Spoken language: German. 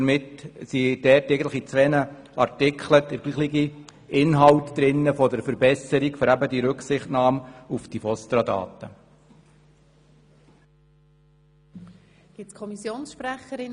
Damit ist eigentlich in zwei Artikeln der gleiche Inhalt zur Verbesserung bezüglich der Rücksichtnahme auf die VOSTRA-Daten enthalten.